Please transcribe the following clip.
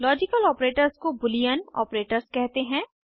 logical operators को Boolean operators कहते हैं